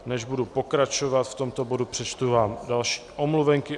Než budu pokračovat v tomto bodu, přečtu vám další omluvenky.